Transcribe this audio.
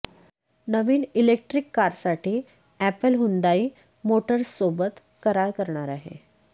नवीन electric कारसाठी Apple Hyundai मोटर्ससोबत करार करणार आहे